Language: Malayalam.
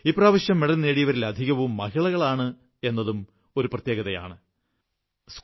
ഇപ്രാവശ്യം മെഡൽ നേടിയവരിലധികം വനിതകളാണ് എന്നതും പ്രത്യേകതയാണ്